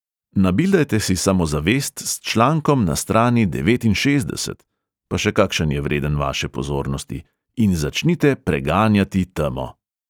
Nabildajte si samozavest s člankom na strani devetinšestdeset (pa še kakšen je vreden vaše pozornosti) in začnite preganjati temo!